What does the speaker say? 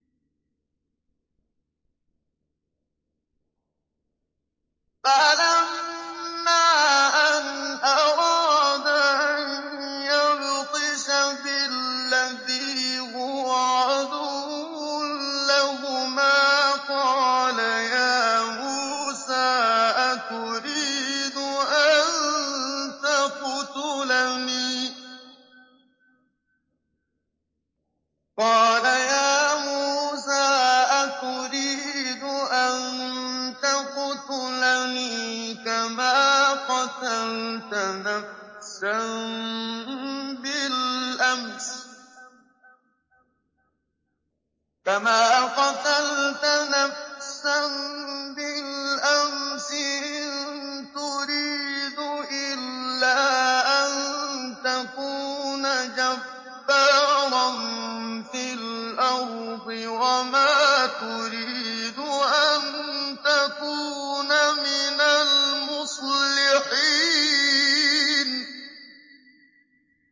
فَلَمَّا أَنْ أَرَادَ أَن يَبْطِشَ بِالَّذِي هُوَ عَدُوٌّ لَّهُمَا قَالَ يَا مُوسَىٰ أَتُرِيدُ أَن تَقْتُلَنِي كَمَا قَتَلْتَ نَفْسًا بِالْأَمْسِ ۖ إِن تُرِيدُ إِلَّا أَن تَكُونَ جَبَّارًا فِي الْأَرْضِ وَمَا تُرِيدُ أَن تَكُونَ مِنَ الْمُصْلِحِينَ